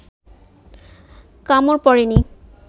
কামড় পড়ে নি